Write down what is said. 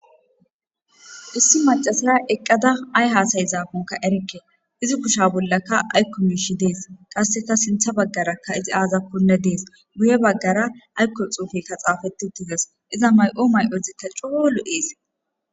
issi macasala eqqada ay haasay zaakonka erikke izi kusha bollakka aykko miishi dees qasseka sintha baggarakka izi aazakkonne dees guye baggara aykko xuufekka xaafeti tihes iza may7o may7ozi ta coo lo'eis